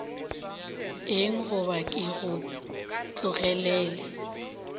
eng goba ke go tlogelele